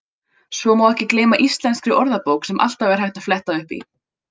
Svo má ekki gleyma Íslenskri orðabók sem alltaf er hægt að fletta upp í.